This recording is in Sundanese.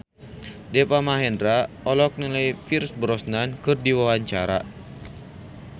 Deva Mahendra olohok ningali Pierce Brosnan keur diwawancara